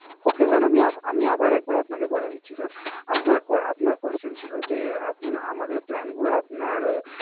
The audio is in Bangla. Ok sir আমি আবার আপনাকে বলে দিচ্ছি Sir আপনার Question ছিল আমাদের Plane গুলো আপনার